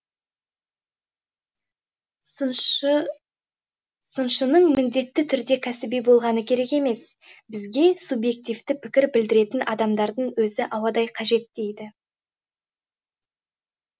сыншыныңміндетті түрде кәсіби болғаны керек емес бізге субъективті пікір білдіретінадамдардың өзі ауадай қажет дейді